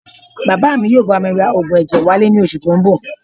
Bàbá mi yóò bá mi ra oògùn ẹ̀jẹ̀ wálé ní oṣù tó ń bọ̀